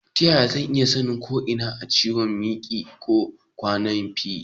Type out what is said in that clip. Ta yaya zan iya sanin ko ina da ciwon miki ko ƙwannafi?